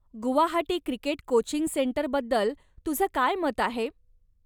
Guwahati cricket coaching सेंटरबद्दल तुझं काय मत आहे?